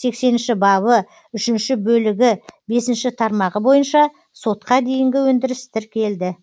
сексенінші бабы үшінші бөлігі бесінші тармағы бойынша сотқа дейінгі өндіріс тіркелді